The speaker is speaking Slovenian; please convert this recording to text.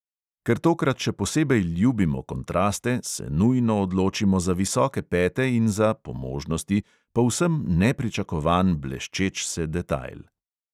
Ker tokrat še posebej ljubimo kontraste, se nujno odločimo za visoke pete in za (po možnosti) povsem nepričakovan bleščeč se detajl.